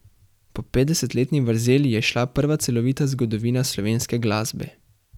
Po petdesetletni vrzeli je izšla prva celovita zgodovina slovenske glasbe.